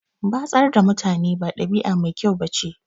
Batsar da mutane ba ɗabi'a mai kyau ba ce.